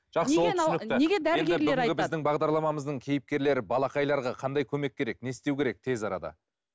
жақсы ол түсінікті бүгінгі бағдарламамыздың кейіпкерлері балақайларға қандай көмек керек не істеу керек тез арада